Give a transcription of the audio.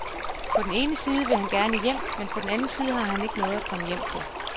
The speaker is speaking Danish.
På den ene side vil han gerne hjem, men på den anden side har han ikke noget at komme hjem til.